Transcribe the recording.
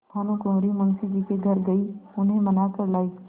भानुकुँवरि मुंशी जी के घर गयी उन्हें मना कर लायीं